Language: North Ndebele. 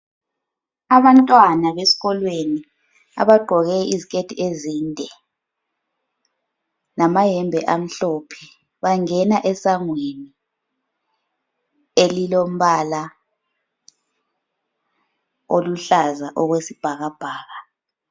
Abantwana besikolweni abagqoke iziketi ezinde lamayembe amhlophe bangena esangweni elilo mbala oluhlaza okwesibhakabhaka.